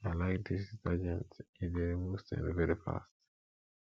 i like dis detergent e dey remove stain very fast